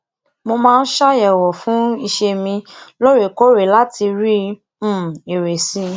mo maa n se ayewo fun ise mi loorekoore lati le ri um ere si i